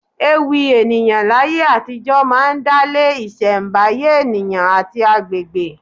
Ewì ènìyàn láyé àtijó máa ń dálé isembaye ènìyàn àti àgbègbè.